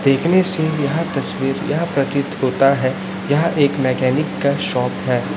देखने से यह तस्वीर यह प्रतीत होता है यह एक मैकेनिक का शॉप है।